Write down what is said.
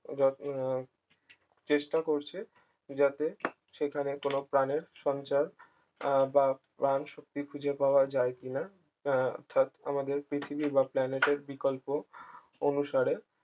যত চেষ্টা করছে যাতে সেখানে কোন প্রাণের সঞ্চার আহ বা প্রাণ শক্তি খুঁজে পাওয়া যায় কিনা আহ অর্থাৎ আমাদের পৃথিবীর বা planet এর বিকল্প অনুসারে